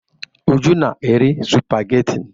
Uju na-eri sụpagheti.